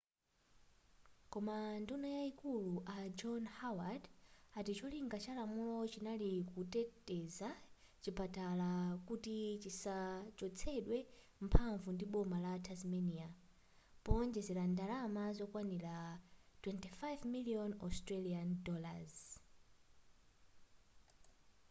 koma nduna yaikulu a john howard ati cholinga cha lamulo chinali kuteteza chipatala kuti chitsachotsedwe mphanvu ndi boma la tasmania poonjezela ndalama zokwanira aud$45 million